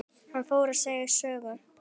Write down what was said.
Hann fór að segja sögu.